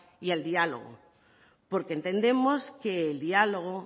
y el diálogo porque entendemos que el diálogo